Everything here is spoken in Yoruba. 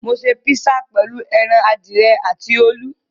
Mo ṣe písà pẹ̀lú ẹran adìyẹ àti olú.